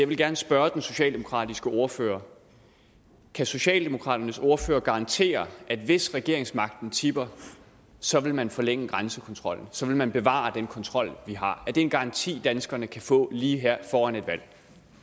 vil gerne spørge den socialdemokratiske ordfører kan socialdemokraternes ordfører garantere at hvis regeringsmagten tipper så vil man forlænge grænsekontrollen så vil man bevare den kontrol vi har er det en garanti danskerne kan få lige her foran et valg